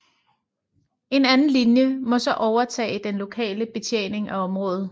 En anden linje må så overtage den lokale betjening af området